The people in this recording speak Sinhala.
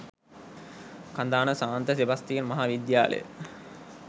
කඳාන සාන්ත සෙබස්තියන් මහා විද්‍යාලය.